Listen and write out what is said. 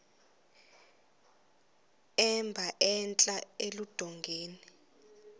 emba entla eludongeni